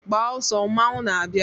Gbaa ọsọ mmanwụ na-abịa!